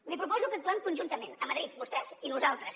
li proposo que actuem conjuntament a madrid vostès i nosaltres